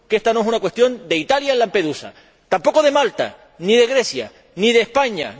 Que ésta no es una cuestión de Italia ni en Lampedusa, tampoco de Malta, ni de Grecia, ni de España.